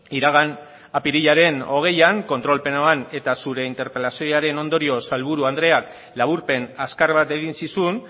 iragan apirilaren hogeian kontrol plenoan eta zure interpelazioaren ondorioz sailburu andreak laburpen azkar bat egin zizun